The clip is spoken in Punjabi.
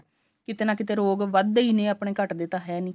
ਕਿਤੇ ਨਾ ਕਿਤੇ ਰੋਗ ਵੱਧਦੇ ਈ ਨੇ ਆਪਣੇ ਘੱਟਦੇ ਤਾਂ ਹੈ ਨੀ